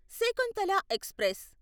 Shakuntala express